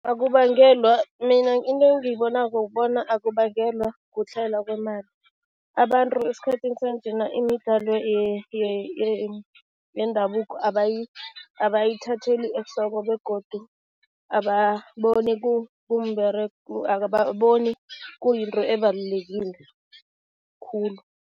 Akubangelwa, mina into engiyibonako bona akubangelwa kutlhayela kwemali. Abantu esikhathini sanjena imidlalo yendabuko abayithatheli ehloko begodu ababoni ababoni kuyinto ebalulekile khulu.